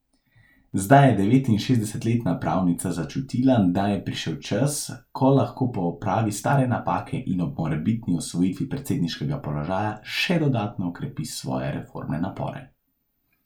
Zdaj je devetinšestdesetletna pravnica začutila, da je prišel čas, ko lahko popravi stare napake in ob morebitni osvojitvi predsedniškega položaja še dodatno okrepi svoje reformne napore.